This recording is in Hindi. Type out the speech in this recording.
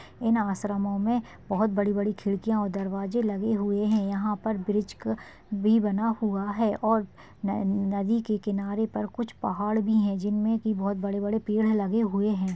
इन आश्रमों में बहोत बड़ी बड़ी खिड़कियाँ और दरवाजे लगे हुए हैं यहाँ पर ब्रिज का भी बना हुआ है और नदी के किनारे पर कुछ पहाड़ भी हैं जिनमे की बहोत बड़े बड़े पेड़ है लगे हुए हैं।